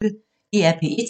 DR P1